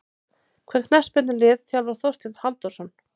Hvaða knattspyrnulið þjálfar Þorsteinn Halldórsson?